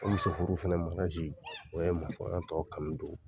O muso furu fana o ye tɔ kanu don